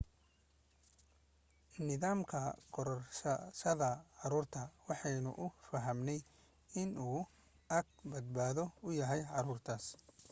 nidaamka korsashada caruurta waxaanu u fahamnay inuu aag badbaado u yahay caruurtaas